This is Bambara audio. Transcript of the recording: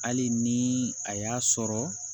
Hali ni a y'a sɔrɔ